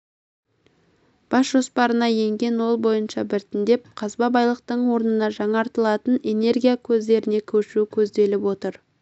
бас жоспарына енген ол бойынша біртіндеп қазба байлықтың орнына жаңартылатын энергия көздеріне көшу көзделіп отыр